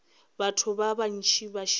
batho ba bantši ba šetše